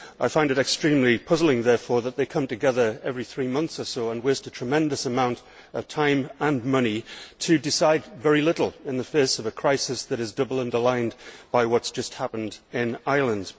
I find it extremely puzzling, therefore, that they come together every three months or so and waste a tremendous amount of time and money to decide very little in the face of a crisis which is doubly underlined by what has just happened in Ireland.